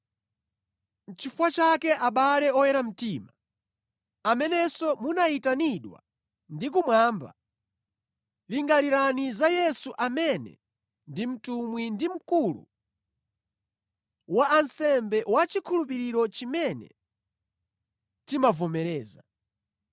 Nʼchifukwa chake abale oyera mtima, amenenso munayitanidwa ndi kumwamba, lingalirani za Yesu amene ndi Mtumwi ndi Mkulu wa ansembe wa chikhulupiriro chimene timavomereza.